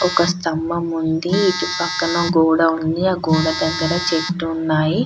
ఒక స్థంభం ఉంది. ఇటుపక్కన గోడ ఉంది. ఆ గోడ దగ్గర చెట్టు ఉన్నాయి.